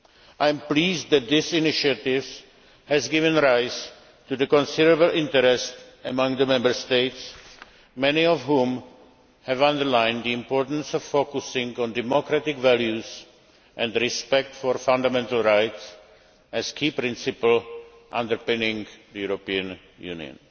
I am pleased that this initiative has given rise to considerable interest among Member States, many of whom have underlined the importance of focusing on democratic values and respect for fundamental rights as key principles underpinning the European Union.